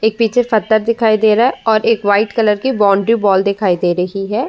एक पीछे दिखाई दे रहा है और एक व्हाइट कलर की बाउन्ड्री वॉल दिखाई दे रही है।